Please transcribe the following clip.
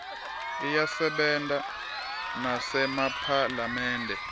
iyasebenta nasemaphalamende